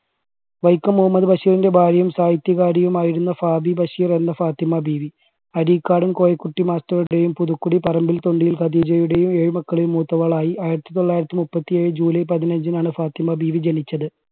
വൈക്കം മുഹമ്മദ് ബഷീറിൻറെ ഭാര്യയും സാഹിത്യകാരിയും ആയിരുന്ന ഫാബീ ബഷീർ എന്ന ഫാത്തിമ ബീവി അരീക്കാട് കോയക്കുട്ടി master ടെയും പുതുക്കുടി പറമ്പിൽ തുണ്ടിൽ ഖദീജയുടെയും ഏഴ് മക്കളിൽ മൂത്തവളായി ആയിരത്തി തൊള്ളായിരത്തി മുപ്പത്തി ഏഴ് july പതിനഞ്ചിനാണ് ഫാത്തിമ ബീവി ജനിച്ചത്.